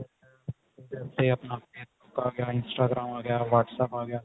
ਉਹਦੇ ਉੱਤੇ ਆਪਣਾ ਉਹ ਆਗਿਆ Instagram ਆ ਗਿਆ WhatsApp ਆਗਿਆ